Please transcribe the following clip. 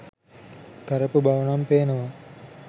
කරපු බවනම් පේනවා.